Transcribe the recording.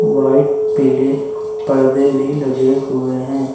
White पीले पर्दे भी लगे हुए हैं।